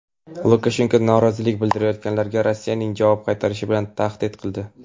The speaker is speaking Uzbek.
Lukashenko norozilik bildirayotganlarga "Rossiyaning javob qaytarishi" bilan tahdid qildi.